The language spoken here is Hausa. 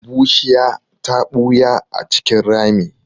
Bushiya ta ɓuya a cikin rami.